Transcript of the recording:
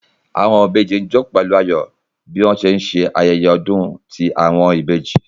Awọn ìbejì n jó pẹlu ayọ bi wọn ṣe nṣe ayẹyẹ ọdun ti awọn ibeji